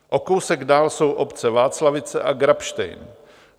O kousek dál jsou obce Václavice a Grabštejn.